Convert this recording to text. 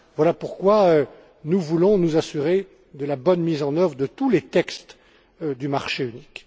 Voilà pourquoi nous voulons nous assurer de la bonne mise en œuvre de tous les textes du marché unique.